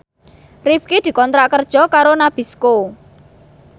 Rifqi dikontrak kerja karo Nabisco